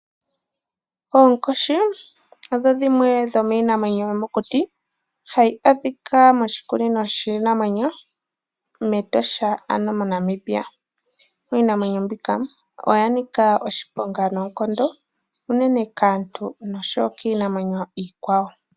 Oonkoshi odho dhimwe dhomiinamwenyo yomokuti hayi adhika moshikunino shiinamwenyo mEtosha moNamibia. Iinamwenyo mbika oya nika oshiponga noonkondo unene kaantu nokiinamwenyo iikwawo.